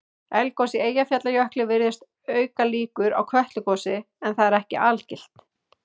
Eldgos í Eyjafjallajökli virðist auka líkur á Kötlugosi en það er ekki algilt.